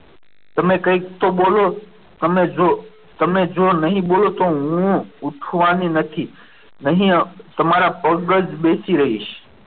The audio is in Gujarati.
તમે કંઈક તો બોલો તમે જો તમે જો નહીં બોલો તો હું ઉઠવાની નથી અહીંયા તમારા પગ પાસે જ બેસી રહીશ.